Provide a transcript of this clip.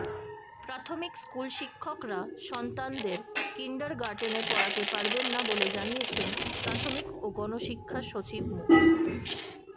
প্রাথমিক স্কুলশিক্ষকরা সন্তানদের কিন্ডারগার্টেনে পড়াতে পারবেন না বলে জানিয়েছেন প্রাথমিক ও গণশিক্ষা সচিব মো